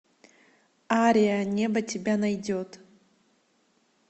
ария небо тебя найдет